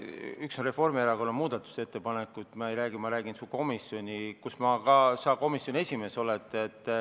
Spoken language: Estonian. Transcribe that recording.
Üks asi on Reformierakonna muudatusettepanek, aga mina räägin komisjonist, kus sa esimees oled.